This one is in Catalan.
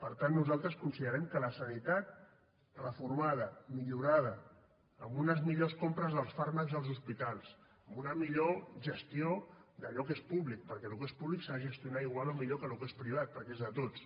per tant nosaltres considerem que la sanitat reformada millorada amb unes millors compres dels fàrmacs als hospitals amb una millor gestió d’allò que és públic perquè el que és públic s’ha de gestionar igual o millor que el que és privat perquè és de tots